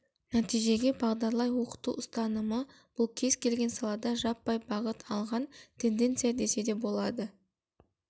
нәтижеге бағдарлай оқыту ұстанымы бұл кез-келген салада жаппай бағыт алған тенденция десе де болады